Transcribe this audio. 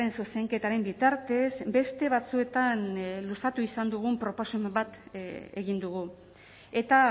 zuzenketaren bitartez beste batzuetan luzatu izan dugun proposamen bat egin dugu eta